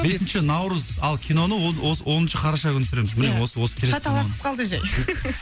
бесінші наурыз ал киноны осы оныншы қараша күні түсіреміз міне осы келесі шаталасып қалды жай